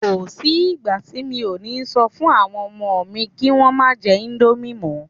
Kò sí ìgbà tí mi ò ní sọ fún àwọn ọmọ mi kí Wọ́n má jẹ íńdómì mọ́.